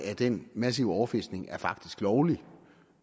af den massive overfiskning er faktisk lovlig